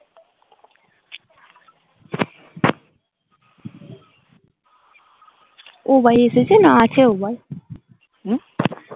ও ভাই এসেছে না আছে উম